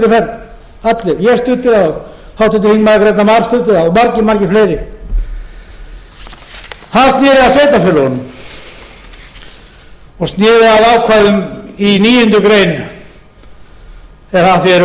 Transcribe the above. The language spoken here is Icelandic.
grétar mar studdi það og margir margir fleiri það sneri að sveitarfélögunum og sneri að ákvæðum í níundu grein eða að því er varðar og fleiri nú er hins vegar komið að fólkinu í landinu litla manninum og það er